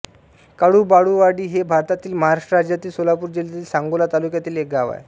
काळुबाळूवाडी हे भारतातील महाराष्ट्र राज्यातील सोलापूर जिल्ह्यातील सांगोला तालुक्यातील एक गाव आहे